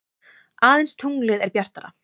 Aðeins tunglið er bjartara.